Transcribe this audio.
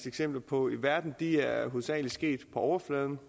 eksempler på i verden er er hovedsagelig sket på overfladen